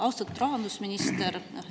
Austatud rahandusminister!